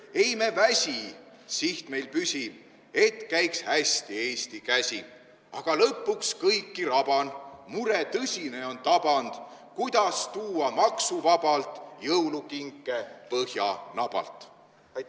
Ei me väsi, siht meil püsib, et käiks hästi Eesti käsi, aga lõpuks kõiki raban, mure tõsine on taband: kuidas tuua maksuvabalt jõulukinke Põhjanabalt?